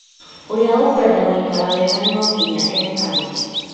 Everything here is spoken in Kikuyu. ũrĩa ũkwenda gũikara wega no nginya eekane